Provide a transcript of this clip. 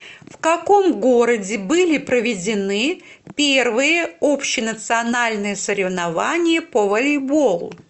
в каком городе были проведены первые общенациональные соревнования по волейболу